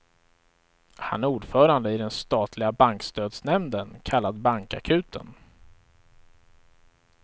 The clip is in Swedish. Han är ordförande i den statliga bankstödsnämnden, kallad bankakuten.